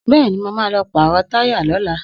Bẹ́ẹ̀ni, mo ma lọ pàrọ̀ táyà lọ́la